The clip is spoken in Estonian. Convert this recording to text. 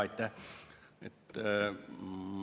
Aitäh!